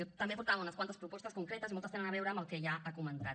jo també portava unes quantes propostes concretes i moltes tenen a veure amb el que ja ha comentat